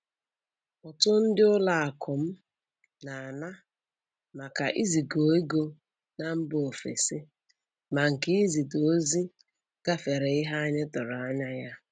Ụtụ ndị ụlọ akụ m na-ana maka iziga ego na mba ofesi, ma nke izite ozi gafere ihe anyị tụrụ anya ya